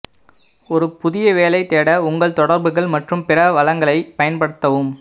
ஒரு புதிய வேலை தேட உங்கள் தொடர்புகள் மற்றும் பிற வளங்களை பயன்படுத்தவும்